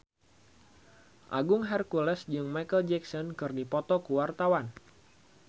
Agung Hercules jeung Micheal Jackson keur dipoto ku wartawan